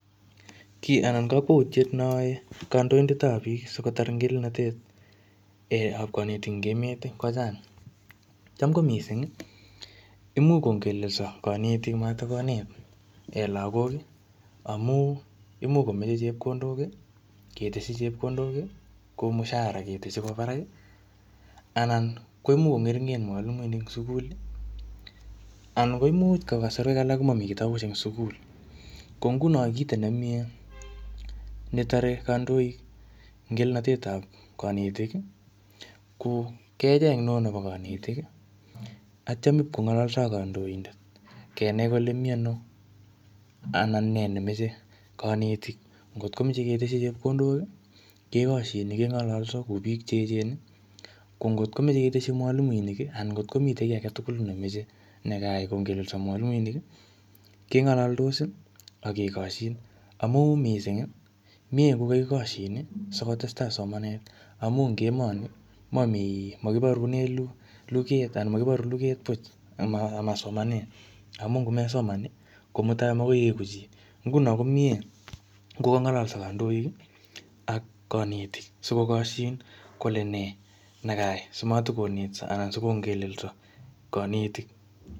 Kiy anan kakwautiet ne ae kandoidetap biik, sikotar ngelelnatet ap knetik eng emet, kochang. Cham ko missing, imuch kongelelso kanetik matikonet lagok, amu imuch komeche chepkondok, keteshi chepkondok kou mshahara keteshi koba barak. Anan koimuch kongeringen mwalimunink sukul. Anan koimuch eng kasarwek alak komami kitabusiek eng sukul. Ko nguno kito nemie netare kandoik ngelelnatet ap kanetik, ko kecheng ne oo nebo kanetik, atyam ipkongalso ak kandoindet. Kenai kole miano, anan nee nemeche kanetik. Ngotkomeche keteshi chepkondok, kekoshin keng'alalso kou biik che echen. Ko ngotkomeche keteshi mwalimuinik, anan ngotkomitei kiy age tugul nemeche nekaai kongelelso mwalimuinik, keng'alaldos, akekoshin. Amuu missing, miee kokakikoshin, sikotestai somanet. Amu ing emonii, mamii makiborune kuget anan makiboru luget puch ama-amasomanet. Amu ngomesoman, ko mutai makoi ieku chi. Nguno komiee ngolalso kandoik, ak kanetik. Sikokoshin kole nee, nekaai simatikonetso anan sikongelelso kanetik.